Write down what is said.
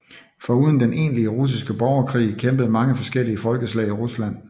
Foruden den egentlige russiske borgerkrig kæmpede mange forskellige folkeslag i Rusland